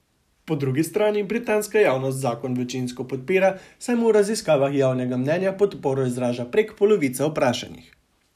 Po drugi strani britanska javnost zakon večinsko podpira, saj mu v raziskavah javnega mnenja podporo izraža prek polovica vprašanih.